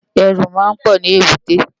Èrù má n pò ni ébùté